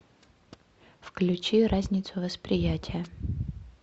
включи разницу восприятия